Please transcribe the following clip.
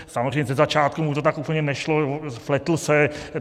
Samozřejmě ze začátku mu to tak úplně nešlo, pletl se.